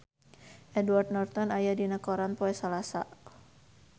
Edward Norton aya dina koran poe Salasa